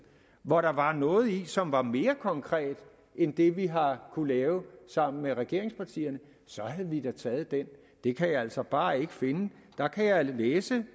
hvor der var noget i som var mere konkret end det vi har kunnet lave sammen med regeringspartierne så havde vi da taget det det kan jeg altså bare ikke finde der kan jeg læse